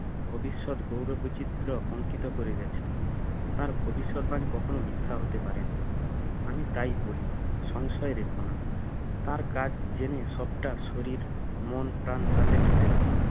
ভবিষ্যৎ গৌর বিচিত্র অংকিত করে গেছেন তার ভবিষ্যৎ বাণী কখনো মিথ্যা হতে পারে না আমি তাই বলি সংশয় রেখো না তার কাজ জেনে সব টা শরীর মন প্রাণ তাতে ঢেলে দাও